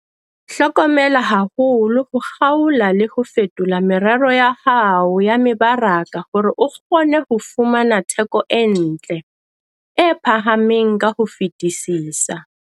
Hlokomela haholo ho kgaola le ho fetola merero ya hao ya mebaraka hore o kgone ho fumana theko e ntle, e phahameng ka ho fetisisa.